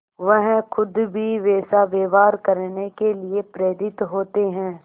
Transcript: वह खुद भी वैसा व्यवहार करने के लिए प्रेरित होते हैं